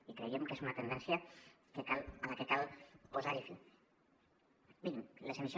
i creiem que és una tendència a la que cal posar fi